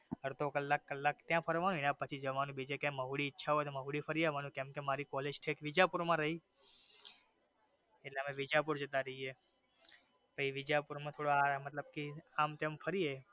અધડો કલાક કલાક ત્યાં ફરવાનો એના પછી બીજે જવાનું ઈચ્છા હોઈ તો મોવડી હોઈ તો ફરયાવનું કેમકે મારી કોલેજ વિદ્યાપુર માં રહી એટલે અમે વિદ્યાપુર જતા રહીયે પછી વિદ્યાપુર માં થોડામતલબ કે આમતેમ ફરીયે.